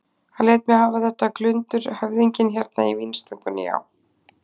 Hann lét mig fá þetta glundur höfðinginn hérna í vínstúkunni, já.